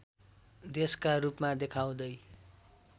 देशका रूपमा देखाउँदै